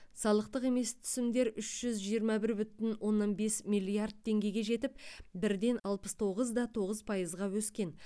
салықтық емес түсімдер үш жүз жиырма бір бүтін оннан бес миллиард теңгеге жетіп бірден алпыс тоғыз да тоғыз пайызға өскен